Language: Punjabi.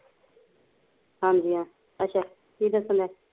ਹਾਂਜੀ ਹਾ ਅੱਛਾ ਕੀ ਦੱਸਣ ਐ